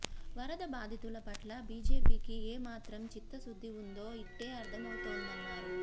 వరద బాధితుల పట్ల బిజెపికి ఏమాత్రం చిత్తశుద్ది ఉందో ఇట్టే అర్థమవుతోందన్నారు